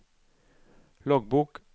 loggbok